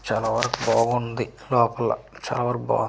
చాలా వరకు బాగుంది లోపల చావర బాగుంది.